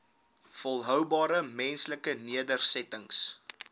volhoubare menslike nedersettings